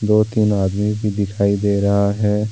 दो-तीन आदमी भी दिखाई दे रहा है।